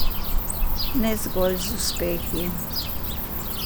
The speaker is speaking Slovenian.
Ne zgolj z uspehi.